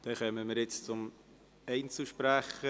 Damit kommen wir jetzt zu einem Einzelsprecher.